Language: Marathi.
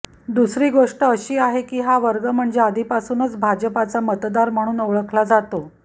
दुसरी गोष्ट अशी आहे की हा वर्ग म्हणजे आधीपासूनच भाजपचा मतदार म्हणून ओळखला जातो